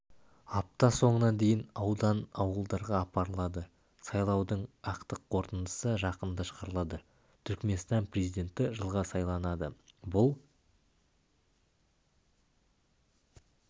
апта соңына дейін аудан ауылдарға апарылады сайлаудың ақтық қорытындысы жақында шығарылады түркменстан президенті жылға сайланады бұл